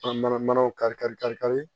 mana mana kari kari kari kari